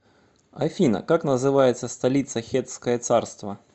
афина как называется столица хеттское царство